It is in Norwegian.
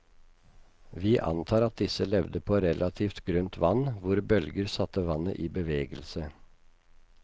Vi antar at disse levde på relativt grunt vann, hvor bølger satte vannet i bevegelse.